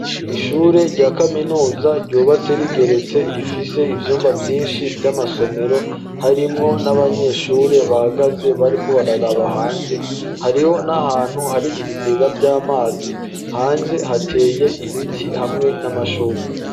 Ishure rya kaminuza ryubatse rigeretse rifise ivyumba vyinshi vy'amasomero harimwo n'abanyeshure bahagaze bariko bararaba hanze hariho n'ahantu hari ibigega vy'amazi hanze hateye ibiti hamwe n'amashurwe.